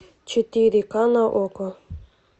четыре ка на окко